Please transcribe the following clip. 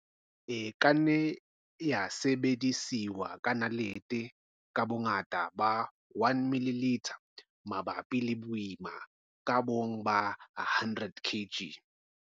E ka nna ya sebediswa ka nalete ka bongata ba 1 ml mabapi le boima ka bong ba 100 kg.